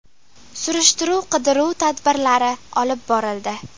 Surishtiruv-qidiruv tadbirlari olib borildi.